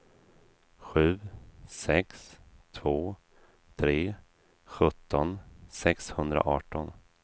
sju sex två tre sjutton sexhundraarton